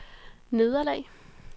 nederlag